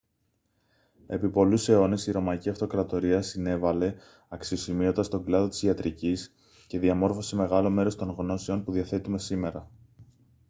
επί πολλούς αιώνες η ρωμαϊκή αυτοκρατορία συνέβαλε αξιοσημείωτα στον κλάδο της ιατρικής και διαμόρφωσε μεγάλο μέρος των γνώσεων που διαθέτουμε σήμερα